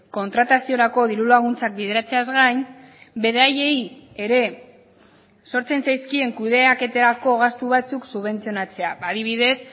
kontrataziorako diru laguntzak bideratzeaz gain beraiei ere sortzen zaizkien kudeaketako gastu batzuk subentzionatzea adibidez